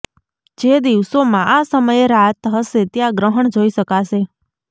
જે દિવસોમાં આ સમયે રાત હશે ત્યા ગ્રહણ જોઈ શકાશે